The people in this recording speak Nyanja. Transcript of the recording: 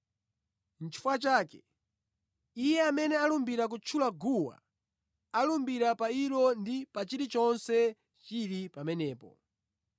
Chifukwa chake, iye amene alumbira kutchula guwa alumbira pa ilo ndi pa chilichonse chili pamenepo.